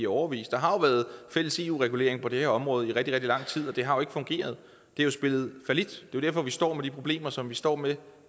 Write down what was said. i årevis der har jo været fælles eu regulering på det her område i rigtig rigtig lang tid og det har ikke fungeret det har spillet fallit det er derfor vi står med de problemer som vi står med